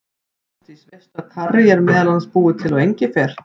Ásdís, veistu að karrí er meðal annars búið til úr engifer?